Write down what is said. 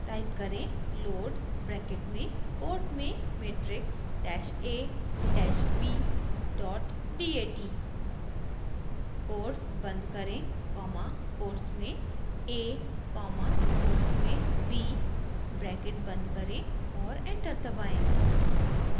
type करें: load bracket में quote में matrix dash a dash b dot dat quotes बंद करें कॉमा कोट्स में a कॉमा कोट्स में b ब्रैकेट बंद करें और एंटर दबाएं